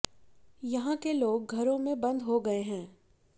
यहां के लोग घरों में बंद हो गए हैं